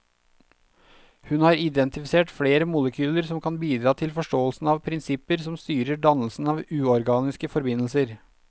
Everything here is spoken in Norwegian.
Hun har identifisert flere molekyler som kan bidra til forståelsen av prinsipper som styrer dannelsen av uorganiske forbindelser.